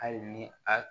Hali ni a